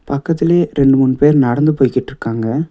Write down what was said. பக்கத்துலே ரெண்டு மூணு பேர் நடந்து போய்கிட்ருக்காங்க.